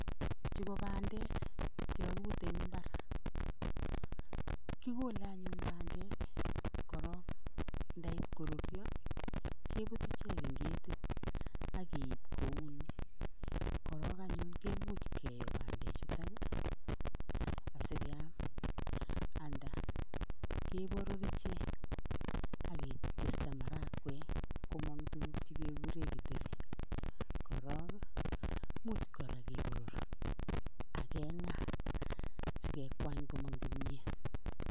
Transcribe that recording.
Chuu ko pandeek che kakebuut en mbaar kikolee anyuun pandeek korog yeit koruryaa kebuut icheeg en ketit ak keib kou nii korog anyuun komuuch keyoo pandeek chutoon ii asíkeyaam anda keboror icheeg ak ketestai marakwek komang tuguk che ke kureen githeri korog imuuch kora keboror ak kengaa sikekwaany komaang kimyeet.